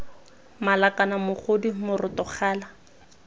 mala kana mogodu moroto gala